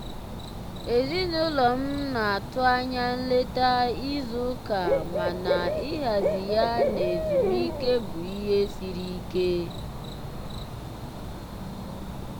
ezinụlọ m na-atụ anya nleta izu ụka mana ịhazi ya na ezumike bụ ihe siri ike.